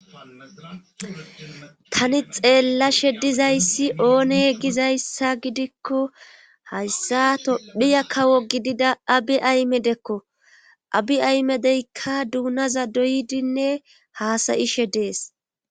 Tani xeellashe dizayssi oone gizayssa gidikko hayssa tophiya kawo gidida abi aymedekko abi aymedeykka duunaza doydinne haasayishe dees